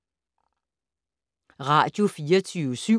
Radio24syv